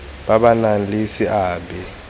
ba ba nang le seabe